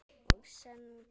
Og söngl.